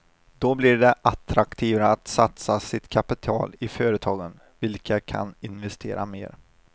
Då blir det attraktivare att satsa sitt kapital i företagen, vilka kan investera mer.